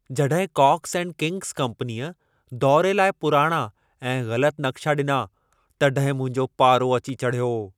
जॾहिं Cox and Kings कम्पनीअ दौरे लाइ पुराणा ऐं ग़लत नक़्शा ॾिना, तॾहिं मुंहिंजो पारो अची चढ़ियो।